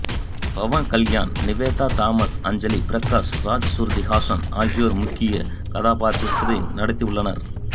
பவன் கல்யாண் நிவேதா தாமஸ் அஞ்சலி பிரகாஷ் ராஜ் சுருதி ஹாசன் ஆகியோர் முக்கியக் கதாப்பாத்திரத்தில் நடித்துள்ளனர்